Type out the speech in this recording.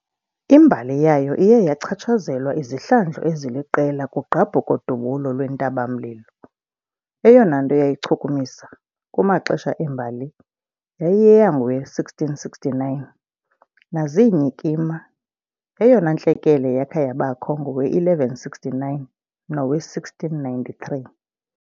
imbali yayo iye yachatshazelwa izihlandlo eziliqela kugqabhuko -dubulo lwentaba-mlilo, eyona nto yayichukumisa, kumaxesha embali, yayiyeyangowe- 1669, naziinyikima, eyona ntlekele yakha yabakho ngowe- 1169 nowe -1693 .